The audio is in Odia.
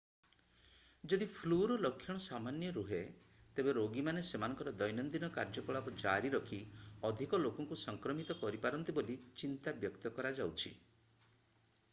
ଯଦି ଫ୍ଲୁର ଲକ୍ଷଣ ସାମାନ୍ୟ ରୁହେ ତେବେ ରୋଗୀମାନେ ସେମାନଙ୍କର ଦୈନନ୍ଦିନ କାର୍ଯ୍ୟକଳାପ ଜାରି ରଖି ଅଧିକ ଲୋକଙ୍କୁ ସଂକ୍ରମିତ କରିପାରନ୍ତି ବୋଲି ଚିନ୍ତା ବ୍ୟକ୍ତ କରାଯାଉଛି